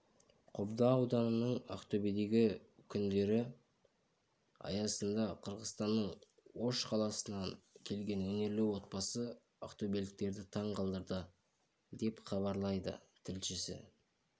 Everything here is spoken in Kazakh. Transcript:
қобда ауданының ақтөбедегі күндері аясында қырғызстанның ош қаласынан келген өнерлі отбасы ақтөбеліктерді таңқалдырды деп хабарлайды тілшісі